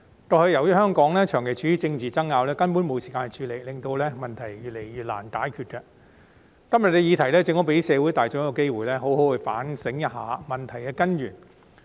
過去由於香港長期處於政治爭拗，根本沒有時間處理這問題，令問題越來越難解決，今天的議題正好給社會大眾一個機會，好好反省一下問題的根源。